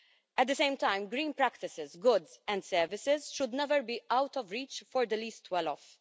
At the same time, green practices, goods and services should never be out of reach for the least well off.